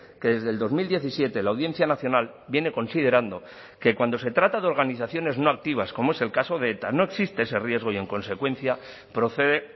que desde el dos mil diecisiete la audiencia nacional viene considerando que cuando se trata de organizaciones no activas como es el caso de eta no existe ese riesgo y en consecuencia procede